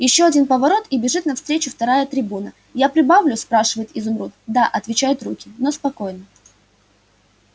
ещё один поворот и бежит навстречу вторая трибуна я прибавлю спрашивает изумруд да отвечают руки но спокойно